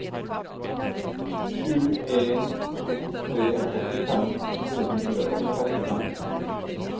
sju en to tre åttifem fire hundre og trettifem